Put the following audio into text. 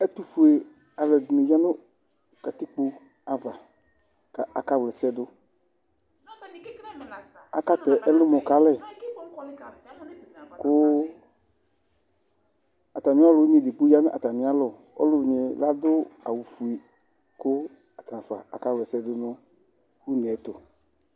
Ɛtʋfʋe ɔlu ɛɖìní ɣa ŋu katikpo ava kʋ akawlɛsɛɖʋ, akatɛ ɛlumɔ kalɛ Atami ɔlʋwiní ɛɖigbo ɔɣa ŋu atami alɔ Ɔlʋwiníɛ laɖʋ awu fʋe kʋ atanafa akawlɛsɛɖʋ ŋu ʋnɛyɛtu